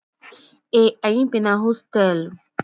Ee, anyị bi na hostelu.